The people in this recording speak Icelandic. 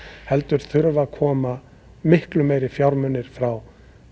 heldur þurfa að koma miklu meiri fjármunir frá